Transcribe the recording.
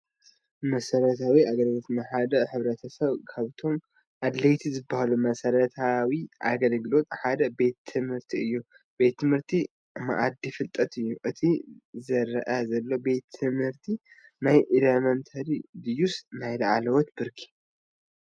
መሰረታዊ ኣገልግሎት፡- ንሓደ ሕ/ሰብ ካብቶም ኣድለይቲ ዝባሃሉ መሰረታዊ ኣገልግሎታት ሓደ ቤት ት/ቲ እዩ፡፡ ት/ቲ ማኣዲ ፍልጠት እዩ፡፡ እቲ ዝረአ ዘሎ ቤት ት/ቲ ናይ ኢለመንታሪ ድዩስ ናይ ላዕለዋይ ብርኪ?